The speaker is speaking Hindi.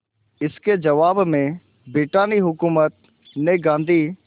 इसके जवाब में ब्रितानी हुकूमत ने गांधी